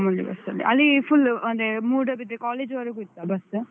ಮಾಮೂಲಿ bus ಅಲ್ಲಿ. ಅಲ್ಲಿ full ಅಂದ್ರೆ ಮೂಡಬಿದ್ರಿ college ವರೆಗೂ ಇತ್ತಾ bus ?